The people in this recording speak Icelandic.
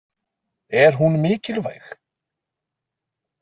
Er hún mikilvæg?